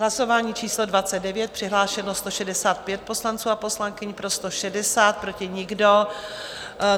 Hlasování číslo 29, přihlášeno 165 poslanců a poslankyň, pro 160, proti nikdo.